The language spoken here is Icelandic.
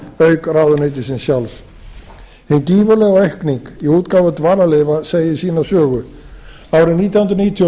auk ráðuneytisins sjálfs hin gífurlega aukning í útgáfu dvalarleyfa segir sína sögu árið nítján hundruð níutíu og